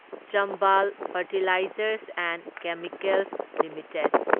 Chambal fertilisers and chemicals limited